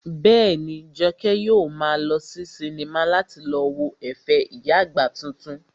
Bẹ́ẹ̀ni, Jọkẹ́ yóò maa lọ sí sinimá láti lọ wo ẹ̀fẹ̀ ìyá àgbà titun